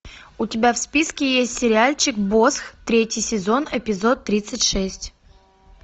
у тебя в списке есть сериальчик босх третий сезон эпизод тридцать шесть